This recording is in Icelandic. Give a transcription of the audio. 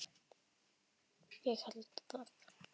Ég held það,